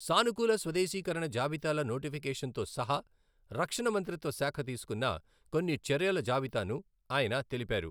సానుకూల స్వదేశీకరణ జాబితాల నోటిఫికేషన్తో సహా రక్షణ మంత్రిత్వ శాఖ తీసుకున్న కొన్ని చర్యల జాబితాను ఆయన తెలిపారు.